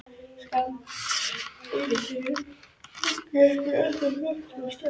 Samkvæmt línuritinu var eggið ekki ennþá lagt af stað.